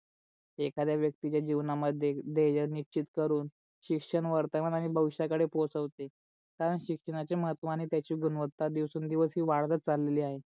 एखाद्या व्यक्तीच्या जिवणा मध्ये ध्येय निश्चित करून शिक्षण वर्तमानाणे भविष्या कळे पोचवते कारण शिक्षणाची महत्व आणि त्याची गुणवंता दिवसे न दिवस वाढवत चाललेली आहे.